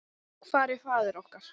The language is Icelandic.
Hvar er faðir okkar?